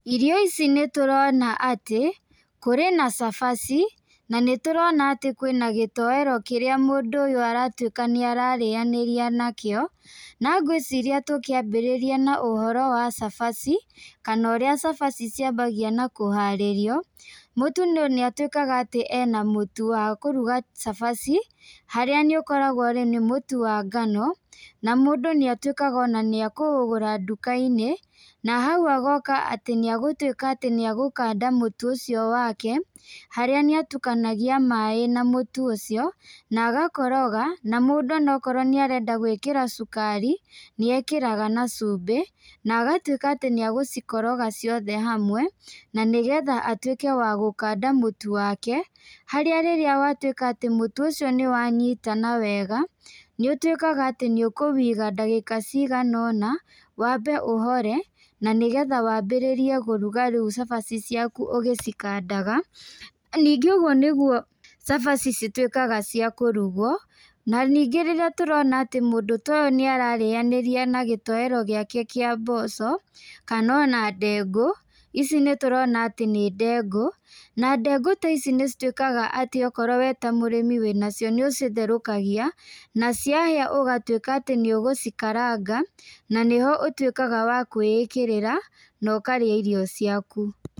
Irio ici nĩtũrona atĩ kũrĩ na cabaci na nĩtũrona atĩ kwĩna gĩtoero kĩrĩa mũndũ ũyũ aratuĩka nĩararĩanĩria nakĩo. Na ngwĩciria tũkĩambĩrĩria na ũhoro wa cabaci kana ũrĩa cabaci ciambagia na kũharĩrio, mũtu nĩatuĩkaga atĩ ena mũtu wa kũruga cabaci harĩa nĩũkoragwo-rĩ nĩ mũtu wa ngano, na mũndũ nĩatuĩkaga ona nĩekũũgũra nduka-inĩ, na hau agoka atĩ nĩegũtuĩka atĩ nĩegũkanda mũtu ũcio wake. Harĩa nĩatukanagia maĩ na mũtu ũcio na agakoroga na mũndũ onakorwo nĩarenda gwĩkĩra cukari, nĩekĩraga na cumbĩ na agatuĩka atĩ nĩegũcikoroga ciothe hamwe, na nĩgetha atuĩke wa gũkanda mũtu wake harĩa rĩrĩa watuĩka atĩ mũtu ũcio nĩwanyitana wega, nĩũtuĩkaga atĩ nĩũkũwĩiga ndagĩka cigana ũna, wambe ũhore, na nĩgetha wambĩrĩrie kũruga rĩu cabaci ciaku ũgĩcikandaga, ningĩ ũguo nĩguo cabaci cituĩkaga cia kũrugwo, na ningĩ rĩrĩa tũrona ati mũndũ ta ũyũ nĩararĩanĩria na gĩtoero gĩake kĩa mboco, kana ona ndengũ, ici nĩtũrona atĩ nĩ ndengũ, na ndengũ ta ici nĩcituĩkaga atĩ okorwo we ta mũrĩmi wĩnacio nĩucitherũkagai, na ciahĩa ũgatuĩka atĩ nĩũgũcikaranga na nĩho ũtuĩkga wa kwĩĩkĩrĩra na ũkarĩa irio ciaku.